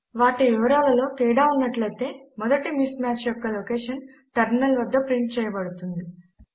వాటి వివరా లలో తేడా ఉన్నట్లయితే మొదటి మిస్ మాచ్ యొక్క లోకేషన్ టెర్మినల్ వద్ద ప్రింట్ చేయబడుతుంది